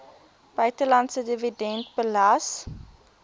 buitelandse dividende belas